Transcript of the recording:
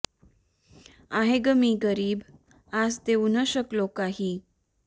आहे ग मी गरीब आज देऊ न शकलो काही